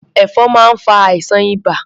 Ẹ̀fọn máa ń fa àìsàn ibà.